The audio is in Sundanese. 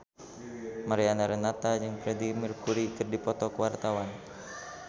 Mariana Renata jeung Freedie Mercury keur dipoto ku wartawan